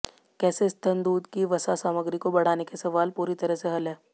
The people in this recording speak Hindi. कैसे स्तन दूध की वसा सामग्री को बढ़ाने के सवाल पूरी तरह से हल है